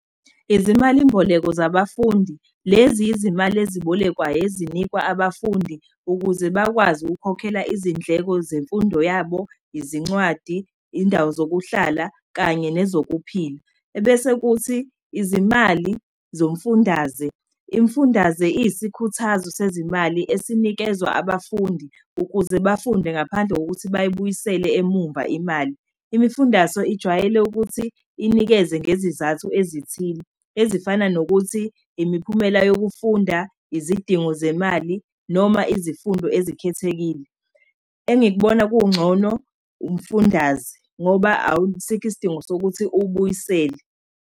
Izimalimboleko zabafundi, lezi izimali ezibolekwayo ezinikwa abafundi, ukuze bakwazi ukukhokhela izindleko zemfundo yabo, izincwadi, iy'ndawo zokuhlala, kanye nezokuphila. Ebese kuthi, izimali zomfundaze, imfundaze iyisikhuthazo sezimali esinikezwa abafundi ukuze bafunde ngaphandle kokuthi bayibuyisele emumva imali. Imifundaso ijwayele ukuthi inikezwe ngezizathu ezithile ezifana nokuthi, imiphumela yokufunda, izidingo zemali, noma izifundo ezikhethekile. Engikubona kungcono, umfundaze, ngoba asikho isidingo sokuthi uwubuyisele.